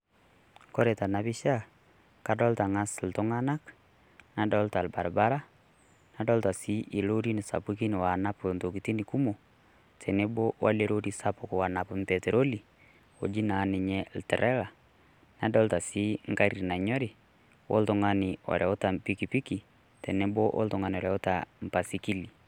kore tena pisha kadolta ng'as iltung'anak nadolta ilbaribara nadolta sii loorin sapukin onap intokiting kumok tenebo welerori sapuk wonap mpetroli oji naa ninye trela nadolta sii ngari nanyori oltungani oreuta mpikipiki teneboo oltungani oreuta mbaisikili